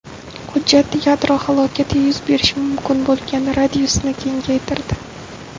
Hujjat yadro halokati yuz berishi mumkin bo‘lgan radiusni kengaytirdi.